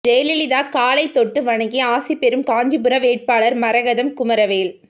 ஜெயலலிதா காலை தொட்டு வணங்கி ஆசிபெறும் காஞ்சிபுரம் வேட்பாளர் மரகதம் குமரவேல்